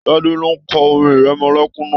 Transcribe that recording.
Tade ló n kọ orin ìrẹmọlẹ́kún náà.